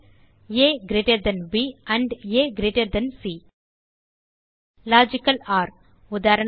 ஆ ப் ஆ சி லாஜிக்கல் ஒர் உதாரணமாக